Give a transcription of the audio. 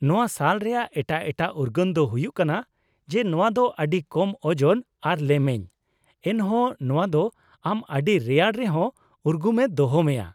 ᱱᱚᱶᱟ ᱥᱟᱞ ᱨᱮᱭᱟᱜ ᱮᱴᱟᱜ ᱮᱴᱟᱜ ᱩᱨᱜᱟᱹᱱ ᱫᱚ ᱦᱩᱭᱩᱜ ᱠᱟᱱᱟ ᱡᱮ ᱱᱚᱶᱟ ᱫᱚ ᱟᱹᱰᱤ ᱠᱚᱢ ᱳᱡᱚᱱ ᱟᱨ ᱞᱮᱢᱮᱧ, ᱮᱱᱦᱚᱸ ᱱᱚᱶᱟ ᱫᱚ ᱟᱢ ᱟᱹᱰᱤ ᱨᱮᱭᱟᱲ ᱨᱮᱦᱚᱸ ᱩᱨᱜᱩᱢᱮ ᱫᱚᱦᱚ ᱢᱮᱭᱟ ᱾